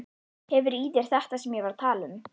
Hefur í þér þetta sem ég var að tala um.